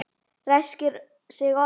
Ræskir sig oft.